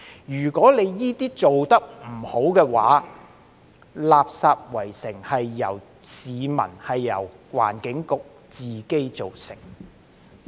如果這些做得不好的話，"垃圾圍城"便是由市民、由環境局自己造成的。